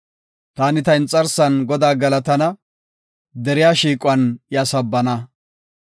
Taani ta inxarsan Godaa galatana; deriya shiiquwan iya sabbana.